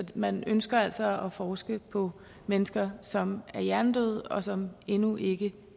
man ønsker altså at forske på mennesker som er hjernedøde og som endnu ikke